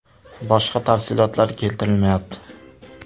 Boshqa tafsilotlar keltirilmayapti.